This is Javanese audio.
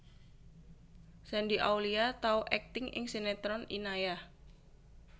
Shandy Aulia tau akting ing sinetron Inayah